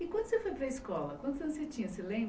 E quando você foi para a escola, quantos anos você tinha você lembra?